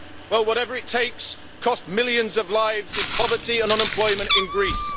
Well, whatever it takes' cost millions of lives in poverty and unemployment in Greece.